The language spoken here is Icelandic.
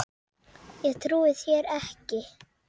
Ég trúi þér ekki.